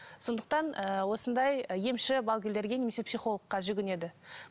сондықтан ыыы осындай емші балгерлерге немесе психологқа жүгінеді